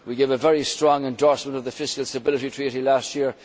We gave a very strong endorsement of the Fiscal Stability Treaty last year.